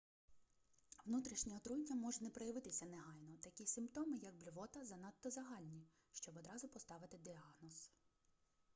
внутрішнє отруєння може не проявитися негайно такі симптоми як блювота занадто загальні щоб одразу поставити діагноз